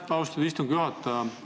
Aitäh, austatud istungi juhataja!